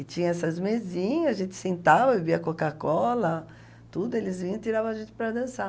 E tinha essas mesinhas, a gente sentava, bebia Coca-Cola, tudo, eles vinham e tiravam a gente para dançar.